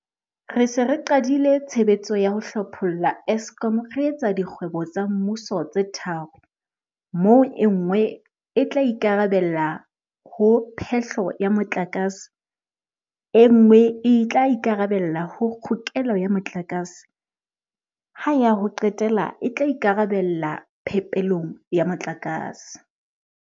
Re se re qadile tshebetso ya ho hlopholla Eskom re e etsa dikgwebo tsa mmuso tse tharo, moo e nngwe e tla ikarabella ho phe-hlo ya motlakase, e nngwe e tla ikarabella ho kgokelo ya motlakase, ha ya ho qetela e tla ikarabella phepelong ya motlakase.